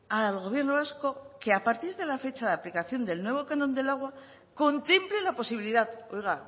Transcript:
al gobierno vasco que a partir de la fecha de aplicación del nuevo canon del agua contemple la posibilidad oiga